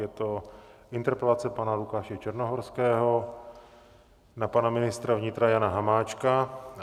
Je to interpelace pana Lukáše Černohorského na pana ministra vnitra Jana Hamáčka.